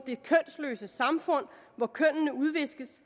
det kønsneutrale samfund hvor kønnene udviskes